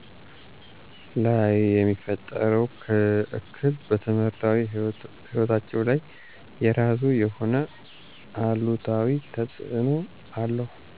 ላይየሚፈጥረው እክል በትምህርታዊ ህይወታቸው ላይ የራሱ የሆነ አሉታዊ ተፅዕኖ አለው።